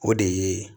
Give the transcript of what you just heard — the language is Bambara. O de ye